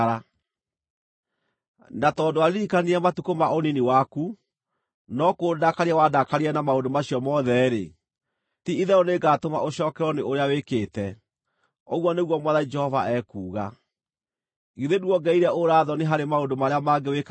“ ‘Na tondũ ndwaririkanire matukũ ma ũnini waku, no kũndakaria wandakaririe na maũndũ macio mothe-rĩ, ti-itherũ nĩngatũma ũcookererwo nĩ ũrĩa wĩkĩte, ũguo nĩguo Mwathani Jehova ekuuga. Githĩ nduongereire ũũra-thoni harĩ maũndũ marĩa mangĩ wĩkaga marĩ magigi?